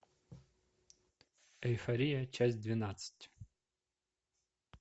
эйфория часть двенадцать